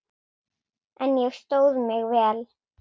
En ég stóð mig vel.